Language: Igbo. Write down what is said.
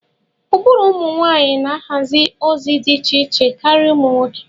Ụbụrụ ụmụ nwanyị na-ahazi ozi dị iche iche karịa ụmụ nwoke